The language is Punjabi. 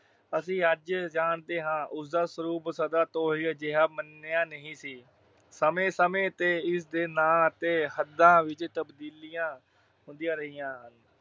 ਅਸੀਂ ਅੱਜ ਜਾਣਦੇ ਹਾਂ। ਉਸਦਾ ਸਰੂਪ ਸਦੀਆਂ ਤੋਂ ਅਜਿਹਾ ਮੰਨਿਆ ਨਹੀਂ ਸੀ। ਸਮੇਂ ਸਮੇੇਂ ਤੇ ਇਸਦੇ ਨਾਂ ਅਤੇ ਹੱਦਾਂ ਵਿੱਚ ਤਬਦੀਲੀਆਂ ਹੁੰਦੀਆਂ ਰਹੀਆਂ।